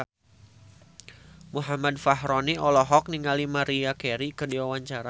Muhammad Fachroni olohok ningali Maria Carey keur diwawancara